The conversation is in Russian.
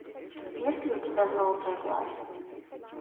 есть ли у тебя золотой глаз